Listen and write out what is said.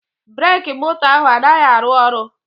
Breki moto ahụ anaghị arụ ọrụ